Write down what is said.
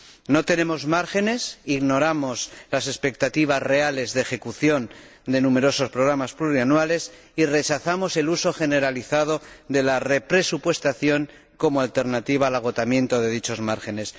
No tenemos márgenes, ignoramos las expectativas reales de ejecución de numerosos programas plurianuales y rechazamos el uso generalizado de la represupuestación como alternativa al agotamiento de dichos márgenes.